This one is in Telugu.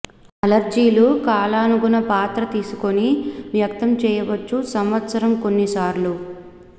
అలర్జీలు కాలానుగుణ పాత్ర తీసుకొని వ్యక్తం చేయవచ్చు సంవత్సరం కొన్ని సార్లు